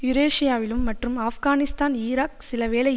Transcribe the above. யூரேசியாவிலும் மற்றும் ஆப்கானிஸ்தான் ஈராக் சிலவேளை